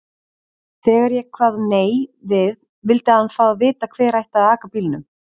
Þegar ég kvað nei við vildi hann fá að vita hver ætti að aka bílnum.